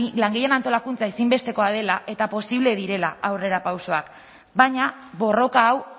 langileen antolakuntza ezinbestekoa dela eta posible direla aurrerapausoak baina borroka hau